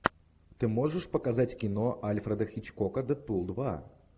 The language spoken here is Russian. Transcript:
ты можешь показать кино альфреда хичкока дедпул два